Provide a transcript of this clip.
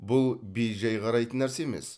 бұл бей жай қарайтын нәрсе емес